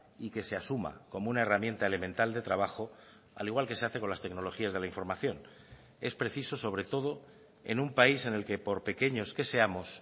y que se asuma como una herramienta elemental de trabajo al igual que se hace con las tecnologías de la información es preciso sobre todo en un país en el que por pequeños que seamos